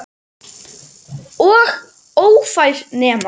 Og ófær nema.